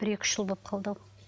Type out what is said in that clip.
бір екі үш жыл боп қалды ау